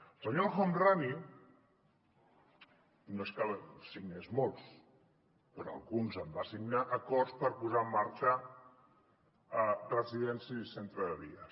el senyor el homrani no és que en signés molts però alguns en va signar acords per posar en marxa residències i centres de dia